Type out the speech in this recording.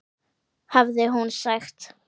hafði hún sagt.